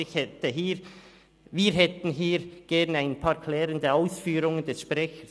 Wir hätten hier gerne ein paar klärende Ausführungen des Sprechers.